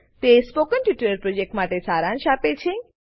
તે spoken tutorial પ્રોજેક્ટનો સારાંશ આપે છે